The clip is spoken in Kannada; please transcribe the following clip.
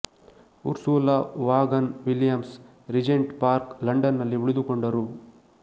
Ursula Vaughan Williams Regent Park London ನಲ್ಲಿ ಉಳಿದುಕೊಂಡರು